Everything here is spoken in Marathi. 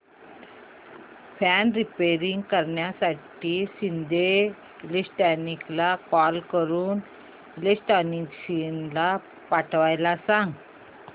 फॅन रिपेयर करण्यासाठी शिंदे इलेक्ट्रॉनिक्सला कॉल करून इलेक्ट्रिशियन पाठवायला सांग